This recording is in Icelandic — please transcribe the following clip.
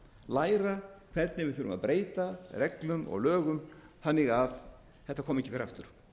læra hvernig við þurfum að breyta reglum og lögum þannig að þetta komi ekki fyrir aftur